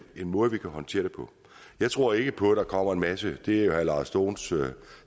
måde vi kan håndtere det på jeg tror ikke på at der kommer en masse det er jo herre lars dohns